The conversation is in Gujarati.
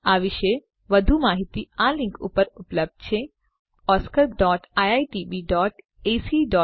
આ વિશે વધુ માહીતી આ લીંક ઉપર ઉપલબ્ધ છે oscariitbacઇન અને spoken tutorialorgnmeict ઇન્ટ્રો